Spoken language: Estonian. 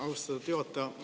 Austatud juhataja!